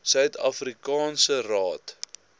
suid afrikaanse raad